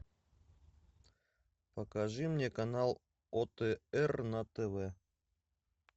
покажи мне канал отр на тв